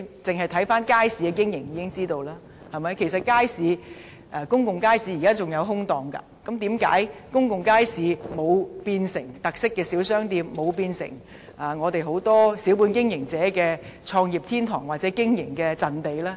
大家從街市的經營情況便知，這些公眾街市仍有空置檔位，但為何公眾街市沒有變成特色小商店或小本經營者的創業天堂或經營陣地呢？